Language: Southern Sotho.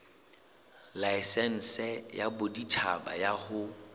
laesense ya boditjhaba ya ho